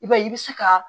I b'a ye i bɛ se ka